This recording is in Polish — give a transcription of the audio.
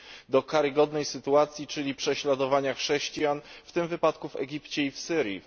do karygodnej sytuacji, czyli prześladowania chrześcijan, w tym wypadku w Egipcie i w Syrii.